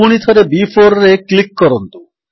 ପୁଣିଥରେ B4ରେ କ୍ଲିକ୍ କରନ୍ତୁ